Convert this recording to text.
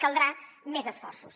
caldrà més esforços